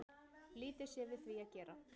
Lítið sé við því að gera